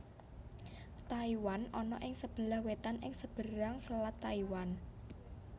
Taiwan ana ing sebelah wetan ing seberang Selat Taiwan